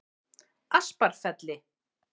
Asparfelli